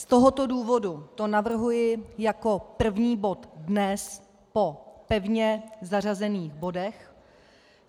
Z tohoto důvodu to navrhuji jako první bod dnes po pevně zařazených bodech.